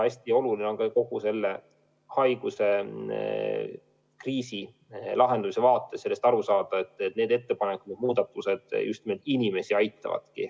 Hästi oluline on kogu selle tervisekriisi lahendamise vaates aru saada, et need ettepanekud, need muudatused just nimelt aitavad inimesi.